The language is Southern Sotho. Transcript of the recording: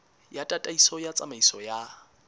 ya tataiso ya tsamaiso ya